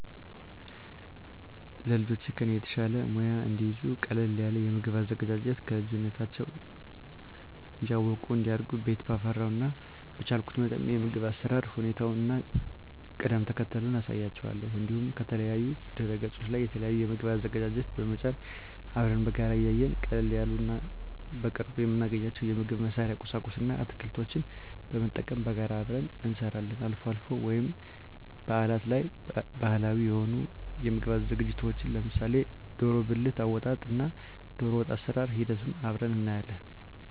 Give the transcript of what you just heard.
ለልጆቼ ከኔ የተሻለ ሙያ እንዲይዙ ቀለል ያለ የምግብ አዘገጃጀት ከልጅነታቸው እያወቁ እንዲያድጉ ቤት ባፈራው እና በቻልኩት መጠን የምግብ አሰራር ሁኔታውን እና ቅደም ተከተሉን አሳያቸዋለሁ። እንዲሁም ከተለያዩ ድህረገጾች ላይ የተለያዩ የምግብ አዘገጃጀት በመጫን አብረን በጋራ እያየን ቀለል ያሉ እና በቅርቡ የምናገኛቸውን የምግብ መስሪያ ቁሳቁስ እና አትክልቶችን በመጠቀም በጋራ አብረን እንሰራለን። አልፎ አልፎ ወይም በአላት ላይ ባህላዊ የሆኑ የምግብ ዝግጅቶችን ለምሳሌ ደሮ ብልት አወጣጥ እና ደሮወጥ አሰራር ሂደቱን አብረን እናያለን።